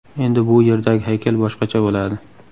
Endi bu yerdagi haykal boshqacha bo‘ladi.